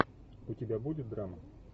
у тебя будет драма